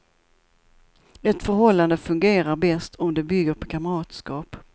Ett förhållande fungerar bäst om det bygger på kamratskap.